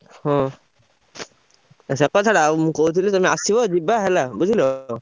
ହଁ ସେ କଥା ଛାଡ ମୁଁ କହୁଥିଲି ତମେ ଆସିବ ଯିବା ହେଲା ବୁଝିଲ।